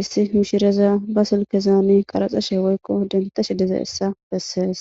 issi mishireza ba silkezaani qaraxashe woykko dentashe dizaessa bessees